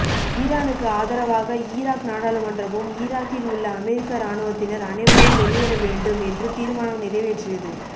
ஈரானுக்கு ஆதரவாக ஈராக் நாடாளுமன்றமும் ஈராக்கில் உள்ள அமெரிக்க ராணுவத்தினர் அனைவரும் வெளியேற வேண்டும் என்று தீர்மானம் நிறைவேற்றியது